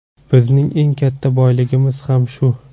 Bizning eng katta boyligimiz ham shu.